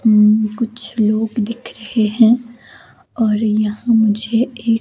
अम कुछ लोग दिख रहें हैं और यहाँ मुझे एक--